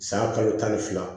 San kalo tan ni fila